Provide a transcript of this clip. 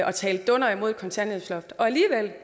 og tale dunder imod kontanthjælpsloftet og alligevel